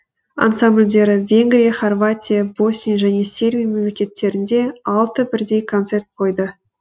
ансамбльдері венгрия хорватия босния және сербия мемлекеттерінде алты бірдей концерт қойды